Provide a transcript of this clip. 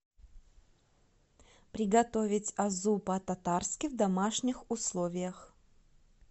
приготовить азу по татарски в домашних условиях